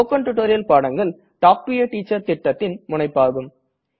spoken tutorial பாடங்கள் talk to a teacher திட்டத்தின் முனைப்பாகும்